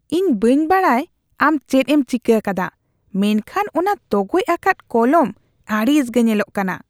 ᱤᱧ ᱵᱟᱹᱧ ᱵᱟᱰᱟᱭ ᱟᱢ ᱪᱮᱫ ᱮᱢ ᱪᱤᱠᱟᱹ ᱟᱠᱟᱫᱟ ᱢᱮᱱᱠᱷᱟᱱ ᱚᱱᱟ ᱛᱚᱜᱚᱡ ᱟᱠᱟᱫ ᱠᱚᱞᱚᱢ ᱟᱹᱲᱤᱥ ᱜᱮ ᱧᱮᱞᱚᱜ ᱠᱟᱱᱟ ᱾